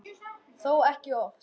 Þó ekki oft.